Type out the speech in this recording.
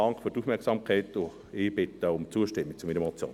Dank für die Aufmerksamkeit, und ich bitte um Zustimmung zu meiner Motion.